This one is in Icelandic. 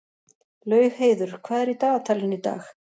Laugheiður, hvað er í dagatalinu í dag?